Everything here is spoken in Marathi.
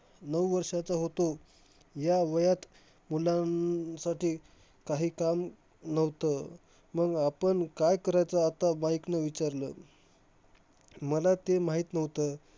नऊ वर्षाचा होतो. या वयात मुलांसाठी काही काम नव्हतं, मंग आपण काय करायचं? आता माईकनं विचारलं. मला ते माहित नव्हतं.